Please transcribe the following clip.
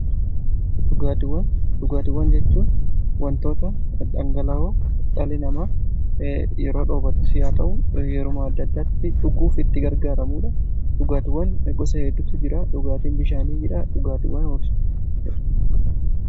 dhugaatiwwan , dhugaatiwwan jechuun wantoota dhangalawoo dhalli namaa yeroo dheebotettis yaa ta'u yeruma adda addaatti dhuguuf itti gargaaramuudha. dhugaatiwwan gosa heeddutu jira dhugaatiin bishaanii jira dhugaatiwwan biroos.